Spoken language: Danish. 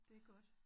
Det godt